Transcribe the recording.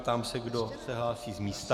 Ptám se, kdo se hlásí z místa.